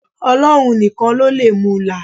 Ọlọ́run nìkan ló lè mu là á.